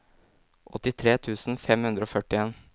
åttitre tusen fem hundre og førtien